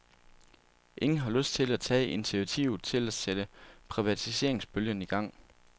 Ingen har lyst til at tage initiativet til at sætte privatiseringsbølgen i gang.